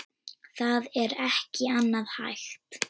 Það er ekki annað hægt.